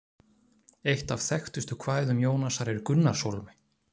Eitt af þekktustu kvæðum Jónasar er Gunnarshólmi.